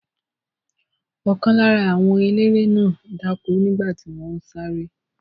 Ọ̀kan lára àwọn eléré náà dákú nígbà tí wọ́n ń sáré.